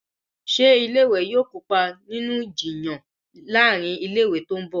Ṣe ilé ìwé yí yóò kópa nínú Ìjiyàn láàrin ilé ìwé tó ńbo?